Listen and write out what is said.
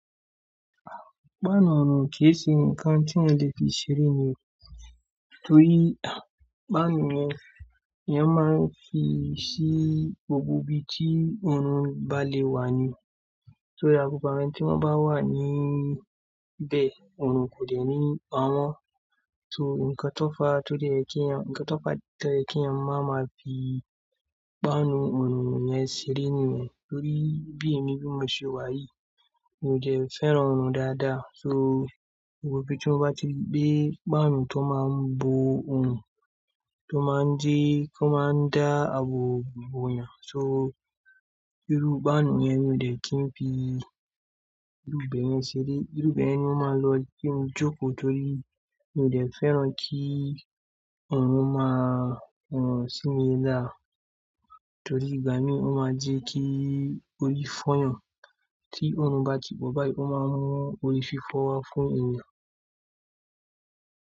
Páànù ọrùn kì í ṣe nǹkan tí eeyan le fi ṣeré ni, torí páànù yẹn ni wọ́n máa ń fi ṣí gbogbo ibi tí ọrùn bá lè wà ní. Torí àgùntàn tí wọ́n bá wà níbẹ̀, ọrùn kò de ní pawọ́n. So nǹkan tó fà á tó lè kí ẹni, nǹkan tó fà á tó yè kí ẹ́ máa ma fi páànù ọrùn yẹn ṣeré ni. Torí bí èmi bí mo ṣe wà yìí, mi ò ṣe fẹ́ràn ọrùn dáadáa. So gbogbo ibi tí wọ́n bá ti gbé páànù tó máa ń bo ọrùn, tó máa ń jẹ́ kí ó máa ń dá àbọ̀ bọ̀ yàn. So irú páànù yẹn ni mi ò dẹ́kin fi irúbẹ̀ yẹn ṣeré. Irúbẹ̀ yẹn ni wọ́n máa ń lo kí n jókòó torí mi ò dẹ́ fẹ́ràn kí ọrùn máa wọ̀n sí mi dáa. Torí ìgbà mí ó máa jẹ́ kí orí fọ́ yàn. Tí ọrùn bá ti pọ̀ báyìí, ó máa ń mú orí fi fọ́ wa fún ènìyàn.